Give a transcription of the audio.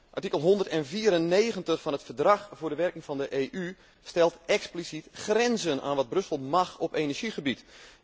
Artikel 194 van het Verdrag voor de werking van de EU stelt expliciet grenzen aan wat Brussel mag op energiegebied.